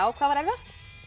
hvað var erfiðast